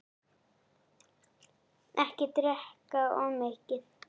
Ekki drekka of mikið.